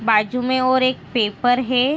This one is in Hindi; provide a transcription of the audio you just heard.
बाजु मे और एक पेपर है।